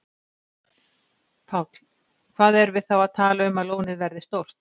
Páll: Hvað erum við þá að tala um að lónið verði stórt?